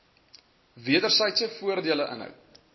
wedersydse voordele inhou